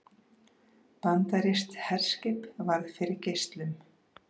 Bandarískt herskip varð fyrir geislum